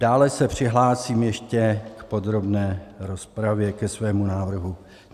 Dále se přihlásím ještě k podrobné rozpravě ke svému návrhu.